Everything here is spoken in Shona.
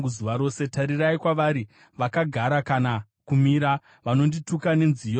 Tarirai kwavari! Vakagara kana kumira, vanondituka nenziyo dzavo.